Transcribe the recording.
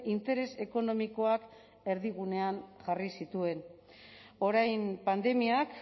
interes ekonomikoak erdigunean jarri zituen orain pandemiak